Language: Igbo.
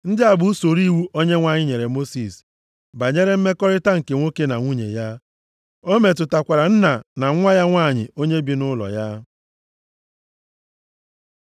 Ndị a bụ usoro iwu Onyenwe anyị nyere Mosis banyere mmekọrịta nke nwoke na nwunye ya. Ọ metụtakwara nna na nwa ya nwanyị onye bi nʼụlọ ya.